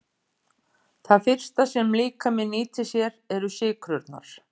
Það fyrsta sem líkaminn nýtir sér eru sykrurnar.